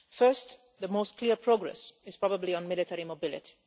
First, the clearest progress is probably on military mobility.